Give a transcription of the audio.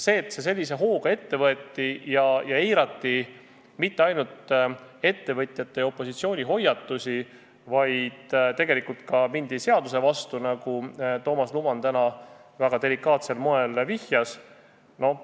Sellega, et see sellise hooga ette võeti, ei eiratud mitte ainult ettevõtjate ja opositsiooni hoiatusi, vaid mindi tegelikult ka seaduse vastu, nagu Toomas Luman täna väga delikaatsel moel vihjas.